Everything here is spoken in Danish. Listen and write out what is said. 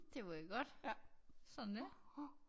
Det var jo godt sådan er det